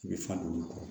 I bɛ fa duuru